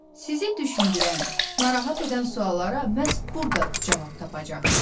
Sizi düşündürən, narahat edən suallara məhz burda cavab tapacaqsınız.